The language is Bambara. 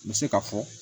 N bɛ se ka fɔ